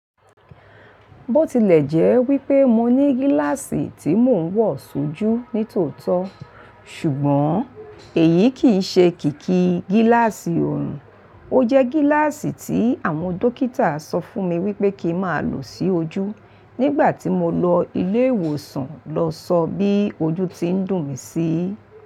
Bó tilẹ̀jẹ́ wípé mo ní gíláàsì tí mò ń wọ̀ sójú ní tòótọ́, ṣùgbọ́n èyí kì í ṣe kíkí gíláàsì òòrùn, ó jẹ́ gíláàsì tí àwọn dókítà sọ fún mi wípé kí má lò sí ojú nígbà tí mo lọ ilé ìwòsàn lọ sọ bí ojú ti ń dùn mí sí.